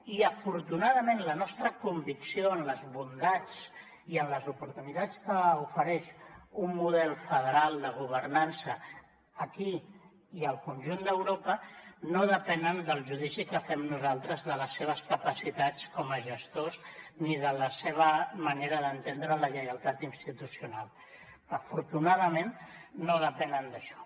i afortunadament la nostra convicció en les bondats i en les oportunitats que ofereix un model federal de governança aquí i al conjunt d’europa no depenen del judici que fem nosaltres de les seves capacitats com a gestors ni de la seva manera d’entendre la lleialtat institucional afortunadament no depenen d’això